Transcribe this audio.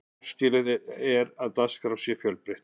áskilið er að dagskrá sé fjölbreytt